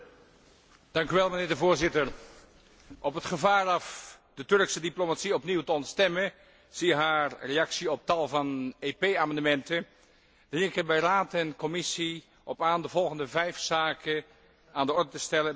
Op het gevaar af de Turkse diplomatie opnieuw te ontstemmen zie haar reactie op tal van EP amendementen dring ik er bij Raad en Commissie op aan de volgende vijf zaken aan de orde te stellen bij de komende onderhandelingen met de Turkse autoriteiten